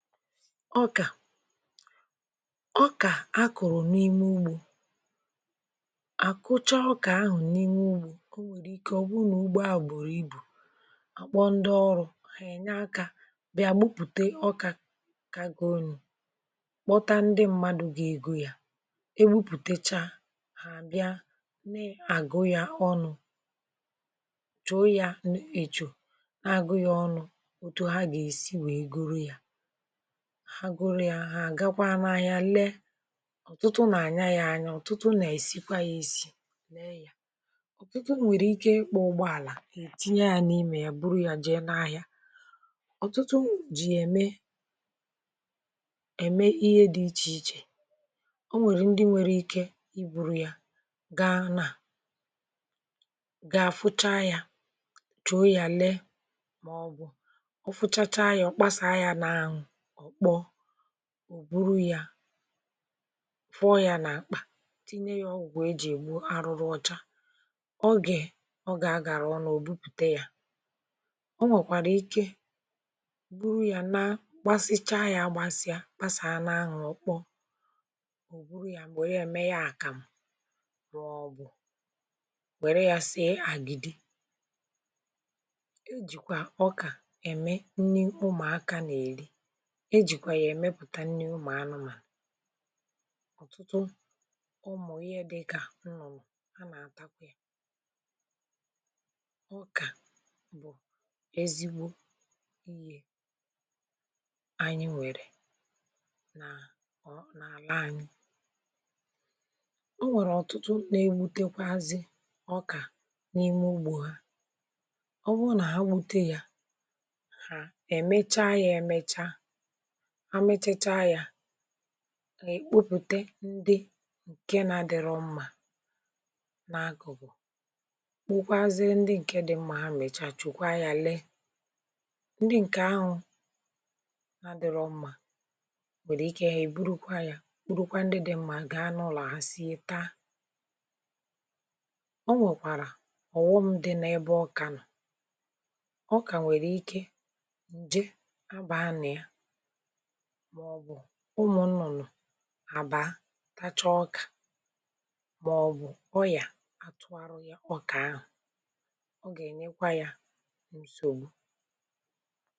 ọkà, ọkà a kụ̀rụ̀ n’ime ugbȯ um àkocha ọkà ahụ̀ n’ime ugbȯ ọ nwèrè ike ọ̀ bụrụ nà ugbo à gbòrò ibù um à kpọ ndị ọrụ̇ ghà ènye akȧ bịa gbupùte ọkà kà aghọ̀ọnụ̇ kpọta ndị mmadụ̇ gà egȯ ya e gwupùtecha hà àbịa nà-àgụ ya ọnụ̇ um chọ̀ ya ǹnè èchọ agụ̇ghị̇ ọnụ̇ otù ha gà-èsi wèe goro yȧ haguru ya ahụ̀ àgakwa n’ahịa lee ọ̀tụtụ nà-ànya ya anya ọ̀tụtụ nà-èsikwa ya èsi mee ya ọ̀tụtụ nwèrè ike ịkpọ̇ ụgbọ àlà ètinye ya n’imė ya buru ya jee n’ahịa ọ̀tụtụ jì ème ème ihe dị ichè ichè o nwèrè ndị nwere ike i buru ya gaa n’à gà-àfụcha ya chòo ya lee màọbụ̀ ọ fụchacha ya ọ kpasàa ya n’ahụ̀ ò buru ya fụọ ya n’akpa tinye ya ọgwụ̀ wee jì gbuo arụrụ ọcha ọ gè ọ ga-agara ọ na ò bupùte ya o nwèkwàrà ike buru ya na gbasịchaa ya gbasịa pasàa anụ ahụ̀ ọ̀ kpọ ò buru ya mbọ ya ème ya àkàmụ̀ rọ̀ọ bụ̀ wère ya sie àgìdì o jìkwà ọkà ème nni ụmụ̀akȧ na-eri ihe jìkwà yà èmepùta nni umù mà anụmànụ̀ ọ̀tụtụ ọ mụ̀ ihe dịkà nnọ̀mù a nà-àtakwa yȧ ọkà bụ̀ ezigbo iyė anyị nwèrè nà ọ nà-àla anyị o nwèrè ọ̀tụtụ nà-egbutekwazị ọkà n’ime ugbȯ ha ọ bụrụ nà ha gwute yȧ ha èmecha yȧ èmecha amịchacha ya ìkpupute ndị ǹke na-adịrọ mmà n’agọbụ̀ kpokwazie ndị ǹke dị mma ha mechachịkwa ya lee ndị ǹke ahụ na-adịrọ mmà nwere ike ya ìburu kwa ya urukwa ndị dị mma gaa n’ụlọ a sieta o nwekwara ọ̀ghọm dị n’ebe ọ ka nọ̀ ọ ka nwere ike ǹje abàanị̀ ya maọ̀bụ̀ ụmụ̀ nnọ̀ nọ̀ abà tacha ọkà maọ̀bụ̀ ọyà atụ̀ arọ ya ọkà ahụ̀ ọ gà-ènyekwà ya nsògbu.